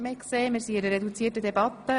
Wir führen eine reduzierte Debatte.